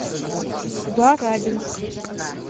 барабинск